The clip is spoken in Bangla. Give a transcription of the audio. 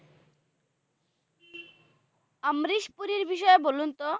অম্রেশ পুরির বিষয়ে বলুন তো?